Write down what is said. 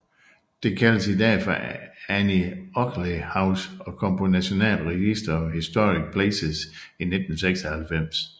Det kaldes i dag for Annie Oakley House og kom på National Register of Historic Places i 1996